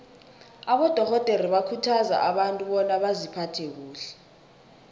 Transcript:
abadorhodere bakhuthaza abantu bona baziphathe kuhle